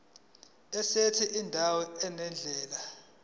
esithi indawo nendlela